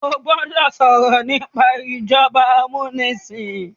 o gbódò sọrọ nipa ìjọba amunisin